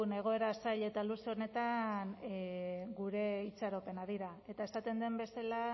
egoera zail eta luze honetan gure itxaropenak dira eta esaten den bezala